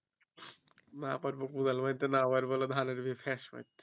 না পারব কোদাল বইতে না পারব ধানের গিয়ে মারতে